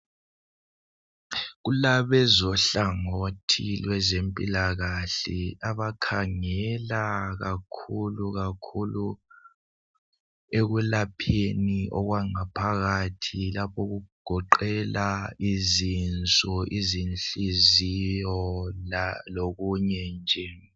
Kulabezohlangothi lwezempilakahle abakhangela kakhulu kakhulu ekulapheni okwangaphakathi lapho kugoqela izinso lenhliziyo lokunye nje.